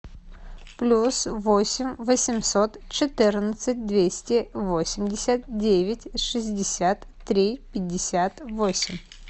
плюс восемь восемьсот четырнадцать двести восемьдесят девять шестьдесят три пятьдесят восемь